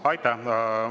Aitäh!